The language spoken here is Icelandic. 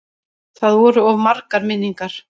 Það voru of margar minningar.